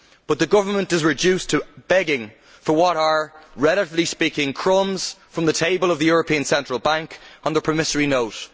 But the government is reduced to begging for what are, relatively speaking, crumbs from the table of the European Central Bank on the promissory note.